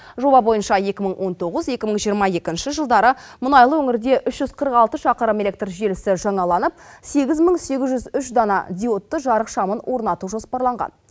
жоба бойынша екі мың он тоғыз екі мың жиырма екінші жылдары мұнайлы өңірде үш жүз қырық алты шақырым электр желісі жаңаланып сегіз мың сегіз жүз үш дана диодты жарық шамын орнату жоспарланған